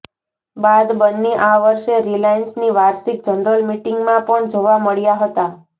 બાદ બન્ને આ વર્ષે રિલાયન્સની વાર્ષિક જનરલ મીટિંગમાં પણ જોવા મળ્યા હતા